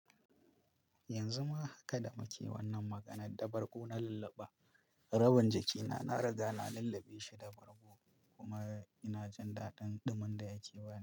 Yanzu ma haka da muke wannan maganar da bargo na lullaba, rabin jikina na riga na lullube shi da bargo kuma ina jin daɗin ɗumin da yake bani.